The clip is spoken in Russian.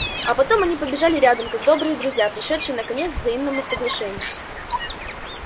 а потом они побежали рядом как добрые друзья пришедшие наконец к взаимному соглашению